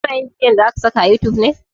Ka na yin bidiyon da zaka saka a youtube ne?